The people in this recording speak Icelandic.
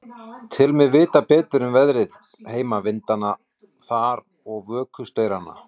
Tel mig vita betur um veðrið heima, vindana þar og vökustaurana.